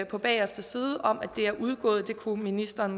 på bageste side om at det er udgået ministeren